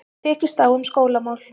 Tekist á um skólamál